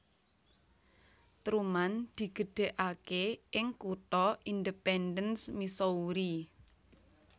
Truman digedhekake ing kutha Independence Missouri